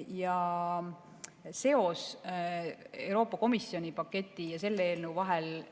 Aga siiski ma ütlen, et seos Euroopa Komisjoni paketi ja selle eelnõu vahel